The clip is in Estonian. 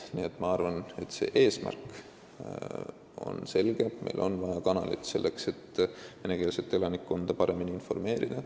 Nii et ma arvan, et eesmärk on selge: meil on vaja kanalit selleks, et venekeelset elanikkonda paremini informeerida.